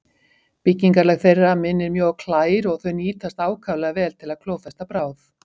Byggingarlag þeirra minnir mjög á klær og þau nýtast ákaflega vel til að klófesta bráð.